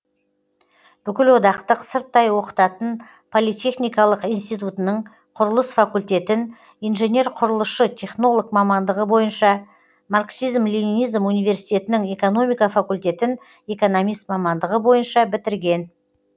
бүкілодақтық сырттай оқытатын политехникалық институтының құрылыс факультетін инженер құрылысшы технолог мамандығы бойынша марксизм ленинизм университетінің экономика факультетін экономист мамандығы бойынша бітірген